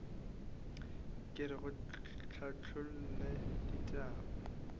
re ke go hlathollele ditaba